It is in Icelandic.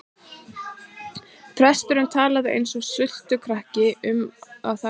Presturinn talaði eins og sultukrukka um það sem hann áleit að væri í kistunni.